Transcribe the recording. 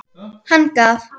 Hann gaf